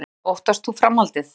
Guðný: Óttast þú framhaldið?